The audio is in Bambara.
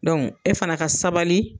e fana ka sabali